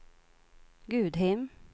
Gudhem